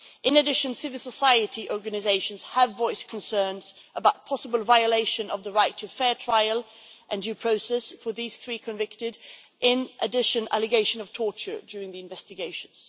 In addition, civil society organisations have voiced concerns about possible violation of the right to a fair trial and due process for the three convicted, and an allegation of torture during the investigations.